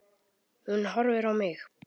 Hún horfir á mig.